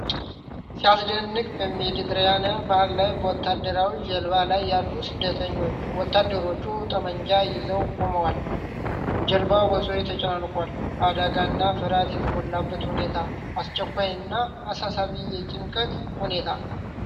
ሲያስደነግጥ! በሜዲትራኒያን ባህር ላይ በወታደራዊ ጀልባ ላይ ያሉ ስደተኞች። ወታደሮች ጠመንጃ ይዘው ቆመዋል፤ ጀልባው በሰዎች ተጨናንቋል። አደጋና ፍርሃት የተሞላበት ሁኔታ። አስቸኳይ እና አሳሳቢ የጭንቀት ሁኔታ።